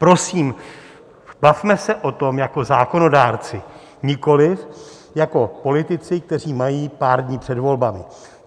Prosím, bavme se o tom jako zákonodárci, nikoliv jako politici, kteří mají pár dní před volbami.